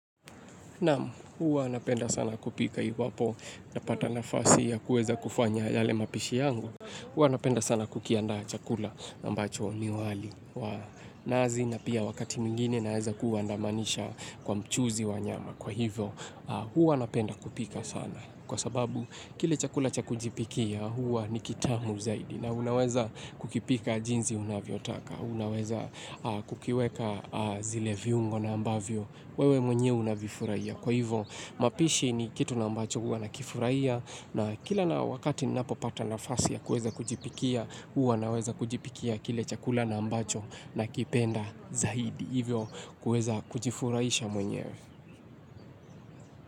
Naam, huwa napenda sana kupika iwapo napata nafasi ya kuweza kufanya yale mapishi yangu. Huwa napenda sana kukiandaa chakula ambacho ni wali nazi na pia wakati mwingine naeza kuandamanisha kwa mchuzi wa nyama kwa hivyo. Hwa anapenda kupika sana. Kwa sababu, kile chakula cha kujipikia huwa ni kitamu zaidi. Na unaweza kukipika jinsi unavyotaka. Unaweza kukiweka zile viungo na ambavyo. Wewe mwenye unavifurahia. Kwa hivyo mapishi ni kitu na ambacho huwa nakifurahia. Na kila na wakati napo pata nafasi ya kueza kujipikia. Huwa naweza kujipikia kile chakula na ambacho nakipenda zaidi. Hivyo kueza kujifurahisha mwenye.